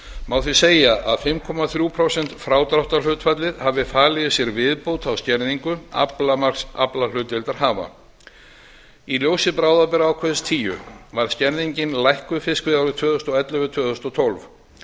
má því segja að fimm komma þrjú prósent frádráttarhlutfallið hafi falið í sér viðbót á skerðing aflamarks aflahlutdeildarhafa í ljósi bráðabirgðaákvæðis tíu var skerðingin lækkuð fiskveiðiárið tvö þúsund og ellefu til tvö þúsund og tólf